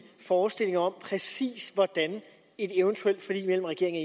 forestillinger om præcis hvordan et eventuelt forlig mellem regeringen